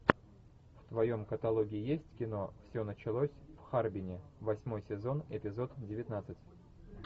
в твоем каталоге есть кино все началось в харбине восьмой сезон эпизод девятнадцать